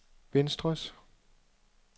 venstres